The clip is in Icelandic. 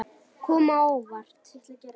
Kom á óvart.